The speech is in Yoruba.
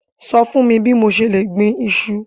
Sọ fún mi bí mo ṣe lè gbin iṣu.